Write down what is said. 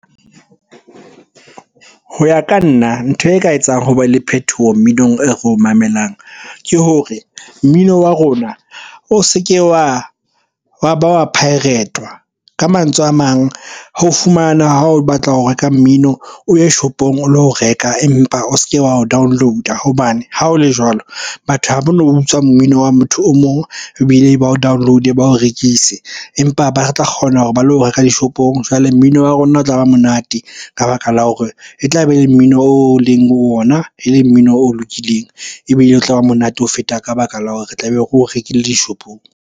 Ho ya ka nna, ntho e ka etsang ho be le phethoho mminong e re o mamelang ke hore mmino wa rona o se ke wa ba wa pirate-wa Ka mantswe a mang, ho fumana ha o batla ho reka mmino o ye shopong o lo reka empa o se ke wa o download-a. Hobane ha o le jwalo, batho ha ba no utswa mmino wa motho o mong ebile ba o download-e, ba o rekise. Empa ba tla kgona hore ba lo reka dishopong. Jwale mmino wa rona o tla ba monate ka baka la hore e tlabe e le mmino o leng ho ona e leng mmino o lokileng. Ebile o tla ba monate ho feta ka baka la hore re tlabe re o rekile dishopong.